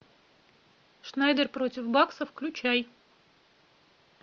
шнайдер против бакса включай